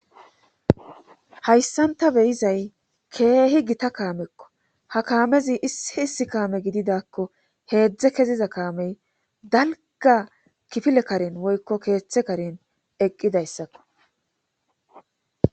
Hayssanta beyizay keehi gita kaamekko ha kaamezi issi kaame gididakko heedzdze keziza kaamey dalga kifile karen woykko keeththe karen eqqidayssakko.